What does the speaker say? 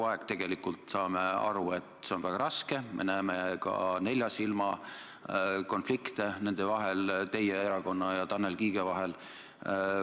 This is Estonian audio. Me tegelikult saame aru, et see on väga raske, me näeme ka neljasilmakonflikte teie erakonna ja Tanel Kiige vahel.